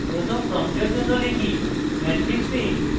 প্রথম প্রম্পটের জন্য আমরা type matrix a